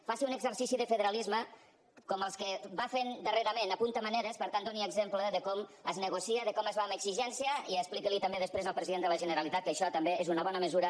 faci un exercici de federalisme com els que va fent darrerament apunta maneres per tant doni exemple de com es negocia de com es va amb exigència i expliqui ho també després al president de la generalitat que això també és una bona mesura